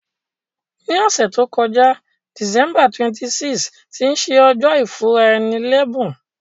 Ní òsẹ̀ to joká, December 26, tí se ojó ìfúnraẹni lẹ́bùn